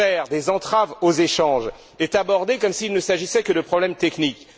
Cette affaire des entraves aux échanges est abordée comme s'il ne s'agissait que de problèmes techniques.